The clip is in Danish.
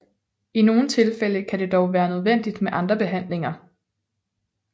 I nogle tilfælde kan det dog være nødvendigt med andre behandlinger